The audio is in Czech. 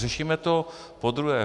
Řešíme to podruhé.